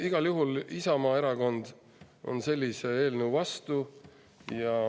Igal juhul Isamaa Erakond on sellise eelnõu vastu.